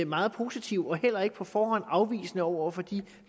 meget positive og heller ikke på forhånd afvisende over for de